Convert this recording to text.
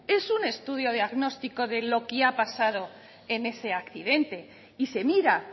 es un estudio diagnóstico de lo que ha pasado en ese accidente y se mira